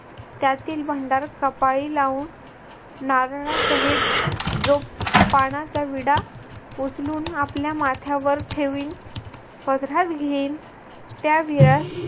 त्यातील भंडार कपाळी लावून नारळासहित जो पानाचा विडा उचलून आपल्या माथ्यावर ठेवील त्या विरस